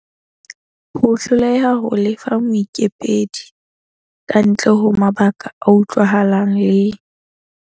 Ho hloleha ho lefa moikopedi kantle ho mabaka a utlwahalang le.